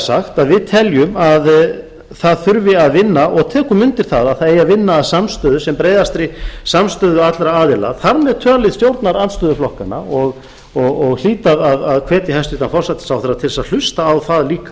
sagt að við teljum að það þurfi að vinna og við tökum undir það að það eigi að vinna að sem breiðastri samstöðu allra aðila þar með talið stjórnarandstöðuflokkanna og hlýt að hvetja hæstvirtan forsætisráðherra til þess að hlusta á það líka þó